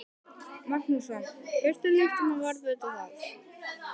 Magnússon, hirtu lítt um að varðveita það.